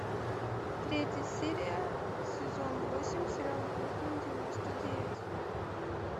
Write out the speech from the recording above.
третья серия сезон восемь сериал бруклин девяносто девять